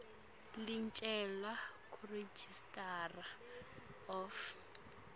licelwe kuregistrar of